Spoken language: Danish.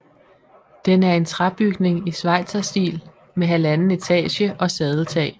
Den er en træbygning i schweizerstil med halvanden etage og sadeltag